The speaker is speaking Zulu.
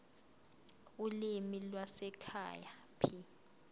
ulimi lwasekhaya p